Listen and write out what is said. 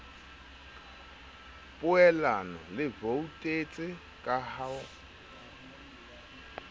poelano le voutetse ka ho